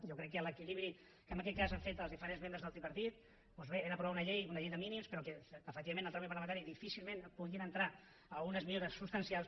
jo crec que l’equilibri que en aquest cas han fet els diferents membres del tripartit doncs bé era aprovar una llei de mínims però que efectivament en el tràmit parlamentari difícilment podien entrar algunes millores substancials